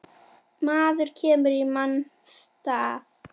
Maður kemur í manns stað.